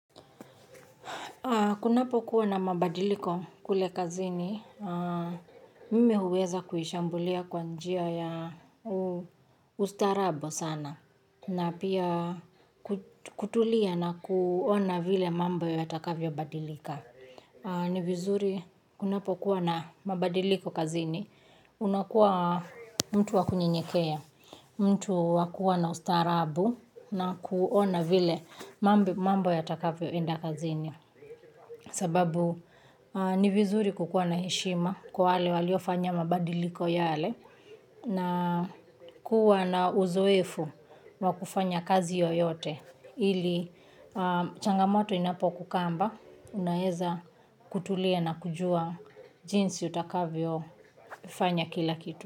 Kunapokuwa na mabadiliko kule kazini, mimi huweza kuishambulia kwa njia ya ustaarabu sana. Na pia kutulia na kuona vile mambo yatakavyo badilika. Ni vizuri kunapokuwa na mabadiliko kazini, unakuwa mtu wakunyenyekea, mtu wa kuwa na ustaarabu na kuona vile mambo yatakavyoenda kazini. Sababu ni vizuri kukuwa na heshima kwa wale waliofanya mabadiliko yale na kuwa na uzoefu wa kufanya kazi yoyote ili changamoto inapokukamba unaweza kutulia na kujua jinsi utakavyofanya kila kitu.